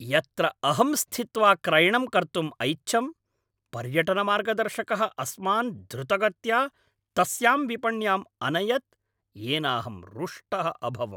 यत्र अहं स्थित्वा क्रयणं कर्तुम् ऐच्छं, पर्यटनमार्गदर्शकः अस्मान् द्रुतगत्या तस्यां विपण्याम् अनयत् येनाहं रुष्टः अभवम्।